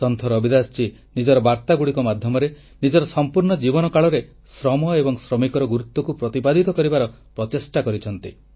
ସନ୍ଥ ରବିଦାସ ନିଜର ବାର୍ତ୍ତା ମାଧ୍ୟମରେ ନିଜର ସଂପୂର୍ଣ୍ଣ ଜୀବନକାଳରେ ଶ୍ରମ ଏବଂ ଶ୍ରମିକର ଗୁରୁତ୍ୱକୁ ପ୍ରତିପାଦିତ କରିବାର ପ୍ରଚେଷ୍ଟା କରିଛନ୍ତି